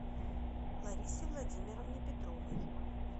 ларисе владимировне петровой